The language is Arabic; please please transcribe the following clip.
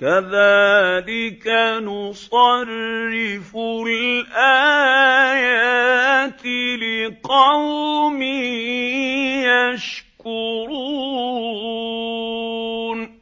كَذَٰلِكَ نُصَرِّفُ الْآيَاتِ لِقَوْمٍ يَشْكُرُونَ